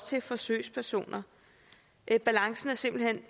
til forsøgspersonerne balancen er simpelt hen